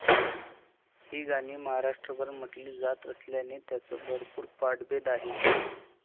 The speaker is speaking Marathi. ही गाणी महाराष्ट्रभर म्हटली जात असल्याने त्यांत भरपूर पाठभेद आहेत.